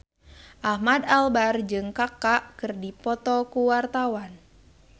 Ahmad Albar jeung Kaka keur dipoto ku wartawan